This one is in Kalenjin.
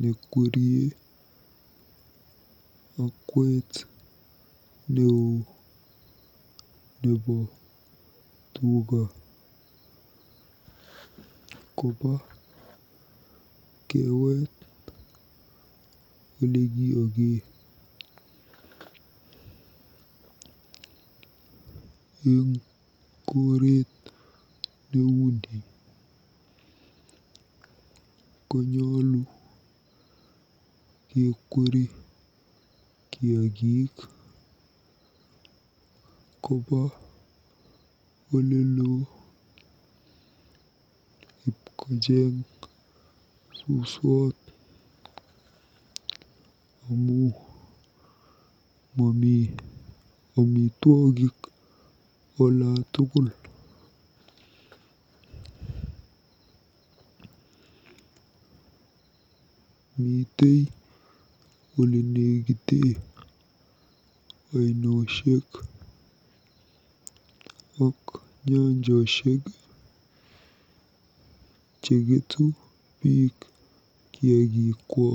nekwerie okwet neoo nebo tuga koba kewet olekiyokee. Eng koret neuni konyolu kekweri kiagik koba olelo ipkocheng suswot amu momi omitwogik olatukul. Mitei olenekitee oinoshek ak nyanjoshek cheketu biik kiagikwa.